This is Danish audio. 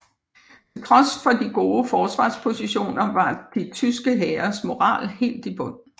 Til trods for de gode forsvarspositioner var de tyske hæres moral helt i bund